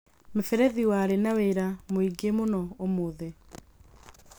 mĩberethi warĩ na wĩra mũingĩ mũno ũmũthĩ